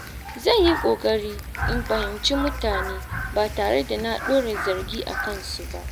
Zan yi ƙoƙari in fahimci mutane ba tare da na ɗora zargi a kansu ba.